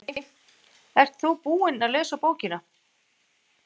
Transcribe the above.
Breki: Ert þú búinn að lesa bókina?